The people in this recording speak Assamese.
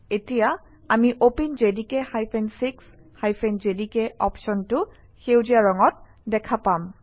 এতিয়া আমি openjdk 6 জেডিকে অপশ্যনটো সেউজীয়া ৰঙত দেখা পাম